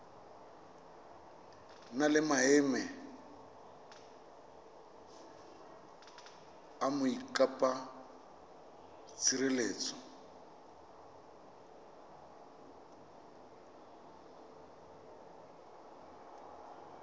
na le maemo a mokopatshireletso